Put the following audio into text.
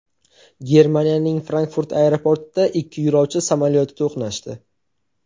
Germaniyaning Frankfurt aeroportida ikki yo‘lovchi samolyoti to‘qnashdi.